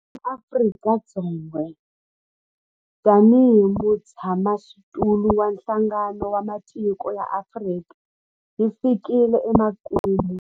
Theme ya Afrika-Dzonga tanihi mutshamaxitulu wa Nhlangano wa Matiko ya Afrika yi fikile emakumu.